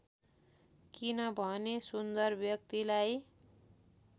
किनभने सुन्दर व्यक्तिलाई